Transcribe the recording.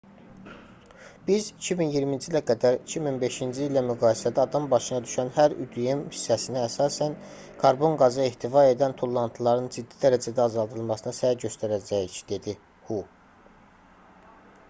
biz 2020-ci ilə qədər 2005-ci illə müqayisədə adam başına düşən hər üdm hissəsinə əsasən karbon qazı ehtiva edən tullantıların ciddi dərəcədə azaldılmasına səy göstərəcəyik dedi hu